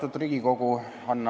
Austatud Riigikogu!